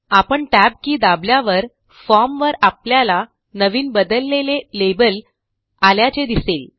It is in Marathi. आपण टॅब की दाबल्यावर फॉर्म वर आपल्याला नवीन बदललेले लेबल आल्याचे दिसेल